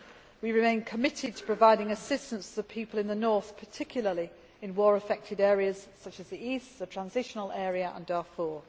We remain committed to providing assistance to the people in the North, particularly in war affected areas such as the east, the Transitional Area and Darfur.